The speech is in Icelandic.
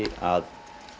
að